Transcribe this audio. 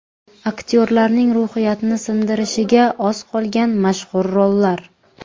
Aktyorlarning ruhiyatini sindirishiga oz qolgan mashhur rollar .